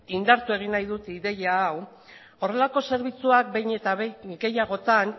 indartu egin nahi dut ideia hau horrelako zerbitzuak behin eta gehiagotan